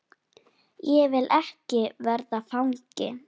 Ég vil ekki verða fangi.